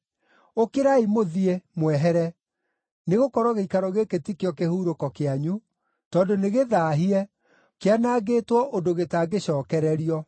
Ũkĩrai mũthiĩ, mwehere! Nĩgũkorwo gĩikaro gĩkĩ ti kĩo kĩhurũko kĩanyu, tondũ nĩgĩthaahie, kĩanangĩtwo ũndũ gĩtangĩcookererio.